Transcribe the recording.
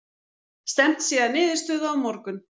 Stefnt sé að niðurstöðu á morgun